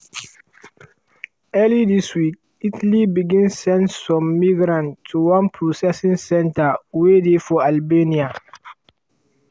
early dis week italy begin send some migrants to one processing centre wey dey for albania.